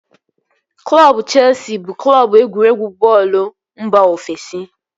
Klọbu Cheesi bụ Klọbu egwuregwu bọọlụ mba ofesi